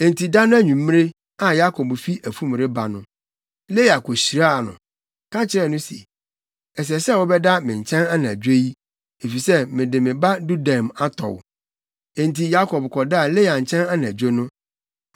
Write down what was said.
Enti da no anwummere a Yakob fi afum reba no, Lea kohyiaa no, ka kyerɛɛ no se, “Ɛsɛ sɛ wobɛda me nkyɛn anadwo yi, efisɛ mede me ba dudaim atɔ wo.” Enti Yakob kɔdaa Lea nkyɛn anadwo no.